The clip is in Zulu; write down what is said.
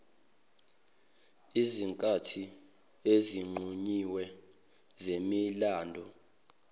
ezinkathini ezinqunyiwe zemilando